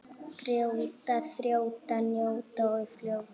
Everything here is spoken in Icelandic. Brjóta, þjóta, njóta og fljóta.